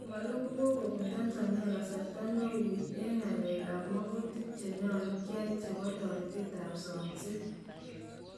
komaloo kokobuun Tanzania kasarta neuy en ng'alek ab makutiik chenyalu kyai chebo toreteed ak somseet .